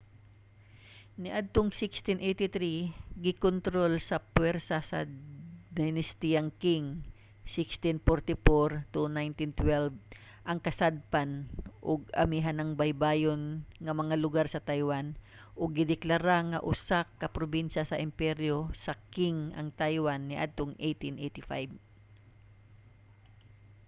niadtong 1683 gikontrol sa pwersa sa dinastiyang qing 1644-1912 ang kasadpan ug amihanang baybayon nga mga lugar sa taiwan ug gideklara nga usa ka probinsya sa imperyo sa qing ang taiwan niadtong 1885